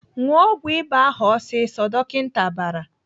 "Ṅụọ ọgwụ ịba ahụ ọsịsọ!" Dọkịta bara.